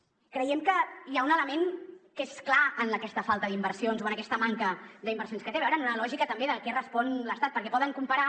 creiem que hi ha un element que és clar en aquesta falta d’inversions o en aquesta manca d’inversions que té a veure amb una lògica també de què respon l’estat perquè poden comparar